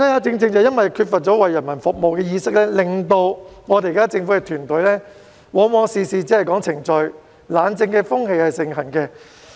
正因為缺乏了為人民服務的意識，令到政府團隊往往事事只說程序，懶政風氣盛行。